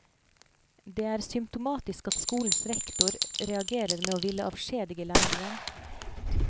Det er symptomatisk at skolens rektor reagerer med å ville avskjedige læreren.